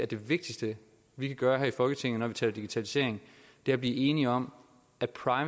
det vigtigste vi kan gøre her i folketinget når vi taler digitalisering er at blive enige om